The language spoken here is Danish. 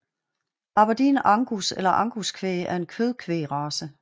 Aberdeen Angus eller Angus kvæg er en kødkvægsrace